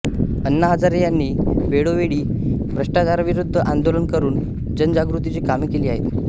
आण्णा हजारे यांनी वेळोवेळी भ्रष्टाचाराविरुद्ध आंदोलने करून जनजागृतीची कामे केली आहेत